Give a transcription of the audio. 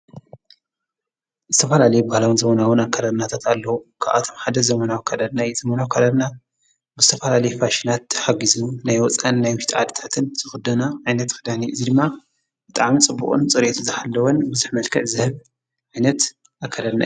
እስተፋላለይ ብሃላዉን ዘመናውን ኣከረና ተታሎዉ ኽኣቶም ሓደስ ዘመናዊ ካደና ዘመናው ካደርና ብስተፋላ ልይ ፋሽናት ተሓጊዙ ናይ ወፃን ናይ ምሽት ኣድታትን ዝኽዶና ኣይነት ኽዳኒዕ እዙይ ድማ እጣኣም ጽቡቕን ጽሬየቱ ዘሃለወን ብዙኅ መልከዕ ዝህብ ኣይነት ኣከዳድና እዩ።